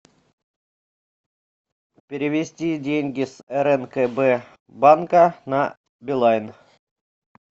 перевести деньги с рнкб банка на билайн